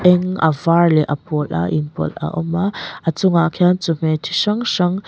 peng a var leh a pawl a inpawlh a awm a a chungah khian chawhmeh chi hrang hrang--